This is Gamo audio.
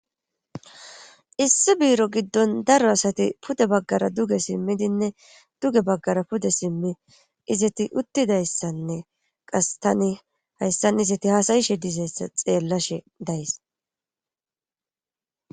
Issi biiro giddon daro asati pude baggara duge simmidinne duge baggara pude simmi izeti uttidayssanne qas tani hayssan izeti haasayishe dizayssa xeellashe days.